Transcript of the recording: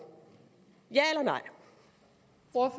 ja